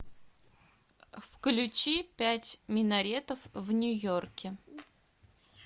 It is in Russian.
включи пять минаретов в нью йорке